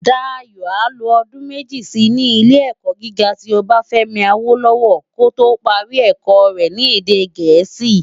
Dayo á lo òdún meji si ni Ilé-èkò gigá ti Obafemi Awolowo kó tó pári èkò rè ni èdè Gẹẹsi